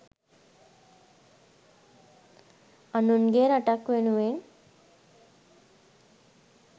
අනුන්ගේ රටක් වෙනුවෙන්